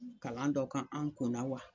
Kalan dɔ kan an kunna wa